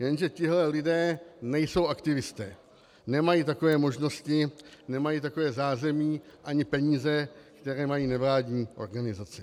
Jenže tihle lidé nejsou aktivisté, nemají takové možnosti, nemají takové zázemí ani peníze, které mají nevládní organizace.